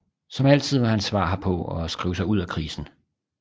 Som altid var hans svar herpå at skrive sig ud af krisen